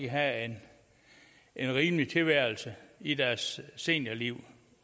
have en rimelig tilværelse i deres seniorliv